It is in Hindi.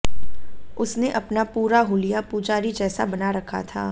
उसने अपना पूरा हूलिया पुजारी जैसा बना रखा था